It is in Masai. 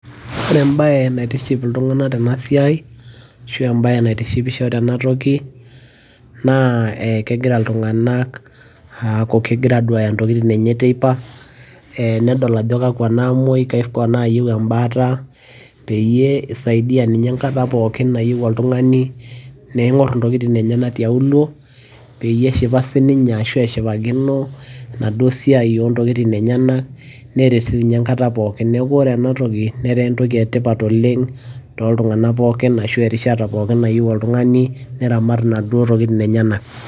ore ebae naitiship iltunganka tena siai ashu ebae naitishipisho tene toki, naa kegira iltunganak aaku kegira aduaya intokitin enye teipa, kegira aadol ajo kakua namuuoi, kakua naayieu ebaata. peyie eisaidia ninye enkata pookin nayieu oltungani, neing'or intokitin enyanak tiaulo, peyie eshipa sii ninye, ashu eshipakino ena duoo siai oo ntokitin enyenak, neret siii ninye enkata pookin. neeku ore ena toki netaa ene tipat oleng. tooltunganak pookin ashu erishata nayieu, oltungani neramat inaduoo tokitin enyenak.